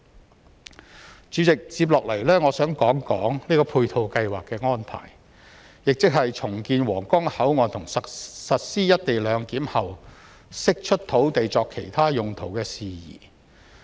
代理主席，接下來我想談談配套計劃的安排，亦即是重建皇崗口岸及實施"一地兩檢"後釋出土地作其他用途的事宜。